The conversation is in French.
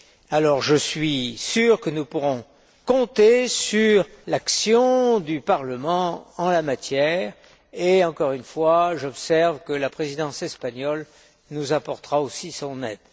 Alors je suis sûr que nous pourrons compter sur l'action du Parlement en la matière et, encore une fois, j'observe que la Présidence espagnole nous apportera aussi son aide.